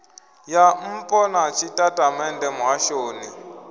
ya npo na tshitatamennde muhashoni